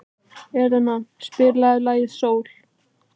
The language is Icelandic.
Elina, spilaðu lagið „Sól“.